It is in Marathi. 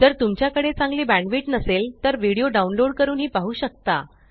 जर तुमच्याकडे चांगली बॅण्डविड्थ नसेल तर व्हिडीओ डाउनलोड करूनही पाहू शकता